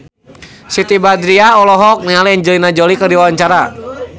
Siti Badriah olohok ningali Angelina Jolie keur diwawancara